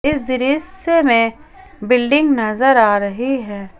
इस दृश्य में बिल्डिंग नजर आ रही है।